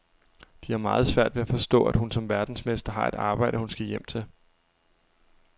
De har meget svært ved at forstå, at hun som verdensmester har et arbejde, hun skal hjem til.